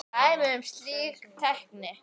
Dæmi um slík tæki